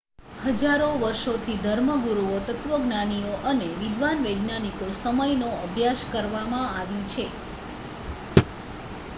હજારો વર્ષોથી ધર્મગુરુઓ તત્વજ્ઞાનીઓ અને વિદ્વાન વૈજ્ઞાનિકો સમયનો અભ્યાસ કરવામાં આવી છે